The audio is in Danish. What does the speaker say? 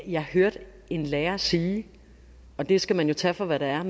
jeg hørte en lærer sige og det skal man jo tage for hvad det er